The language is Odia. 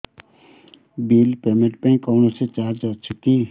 ବିଲ୍ ପେମେଣ୍ଟ ପାଇଁ କୌଣସି ଚାର୍ଜ ଅଛି କି